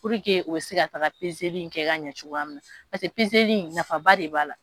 o bɛ se ka taaga in kɛ ka ɲɛ cogoya min na paseke in nafa ba de b'a la.